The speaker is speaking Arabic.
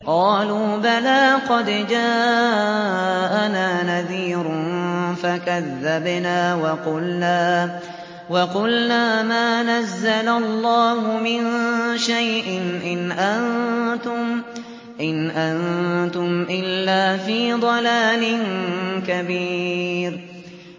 قَالُوا بَلَىٰ قَدْ جَاءَنَا نَذِيرٌ فَكَذَّبْنَا وَقُلْنَا مَا نَزَّلَ اللَّهُ مِن شَيْءٍ إِنْ أَنتُمْ إِلَّا فِي ضَلَالٍ كَبِيرٍ